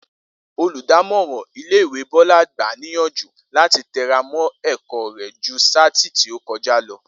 Olùdámò̩ràn ilé ìwé Bó̩lá gbà á níyànjú láti te̩ra mó̩ è̩kó̩ rè̩ ju ti sáà tí ó ko̩já lo̩